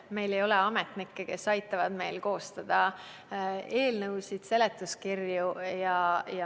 Meil ei ole ametnikke, kes aitavad meil koostada eelnõusid ja seletuskirju.